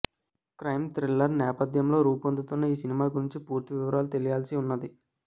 crime thriller నేపథ్యంలో రూపొందుతున్న ఈ సినిమా గురించి పూర్తి వివరాలు తెలియాల్సి ఉన్నది